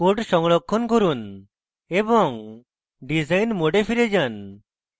code সংরক্ষণ করুন এবং ডিসাইন mode ফিরে যান